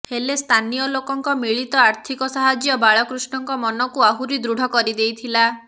ହେଲେ ସ୍ଥାନୀୟ ଲୋକଙ୍କ ମିଳିତ ଆର୍ଥିକ ସାହାଯ୍ୟ ବାଳକୃଷ୍ଣଙ୍କ ମନକୁ ଆହୁରି ଦୃଢ କରିଦେଇଥିଲା